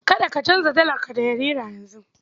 Kada ka canza dalarka da naira yanzu.